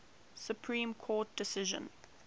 supreme court decision